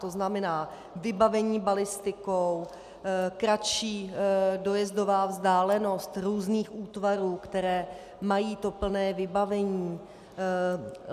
To znamená: vybavení balistikou, kratší dojezdová vzdálenost různých útvarů, které mají to plné vybavení.